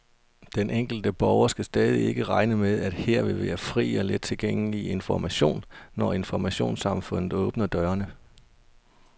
Den enkelte borger skal stadig ikke regne med, at her vil være fri og let tilgængelig information, når informationssamfundet åbner dørene.